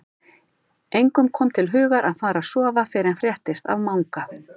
Engum kom til hugar að fara að sofa fyrr en fréttist af Manga.